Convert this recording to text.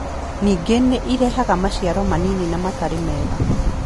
Ningĩ nĩ ũrehaga maciaro manini na matarĩ mega.